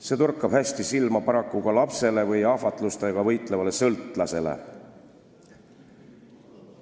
See torkab hästi silma paraku ka lapsele või ahvatlustega võitlevale sõltlasele.